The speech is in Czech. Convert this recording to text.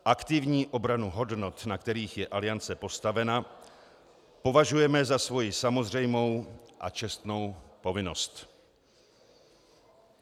Aktivní obranu hodnot, na kterých je Aliance postavena, považujeme za svoji samozřejmou a čestnou povinnost."